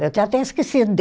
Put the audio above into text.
Eu tinha até esquecido